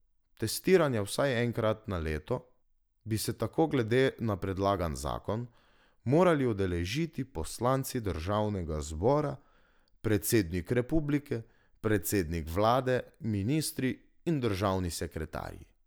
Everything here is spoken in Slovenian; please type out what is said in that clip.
Testiranja vsaj enkrat na leto, bi se tako glede na predlagan zakon, morali udeležiti poslanci državnega zbora, predsednik republike, predsednik vlade, ministri in državni sekretarji.